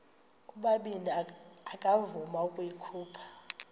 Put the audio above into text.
ubabini akavuma ukuyikhupha